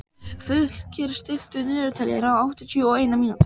Fylkir, stilltu niðurteljara á áttatíu og eina mínútur.